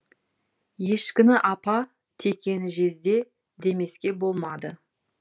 ешкіні апа текені жезде демеске болмады